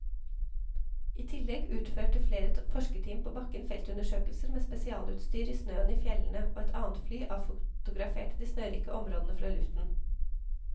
I tillegg utførte flere forskerteam på bakken feltundersøkelser med spesialutstyr i snøen i fjellene og et annet fly avfotograferte de snørike områdene fra luften.